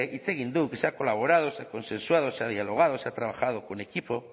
hitz egin du que se ha colaborado se ha consensuado se ha dialogado se ha trabajado con equipo